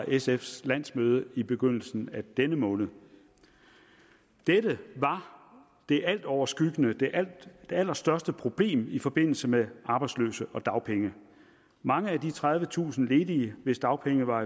sfs landsmøde i begyndelsen af denne måned dette var det altoverskyggende det allerstørste problem i forbindelse med arbejdsløse og dagpenge mange af de tredivetusind ledige hvis dagpenge var